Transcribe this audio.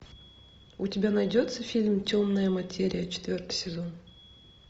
у тебя найдется фильм темная материя четвертый сезон